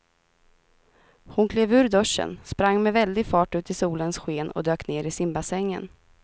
Hon klev ur duschen, sprang med väldig fart ut i solens sken och dök ner i simbassängen.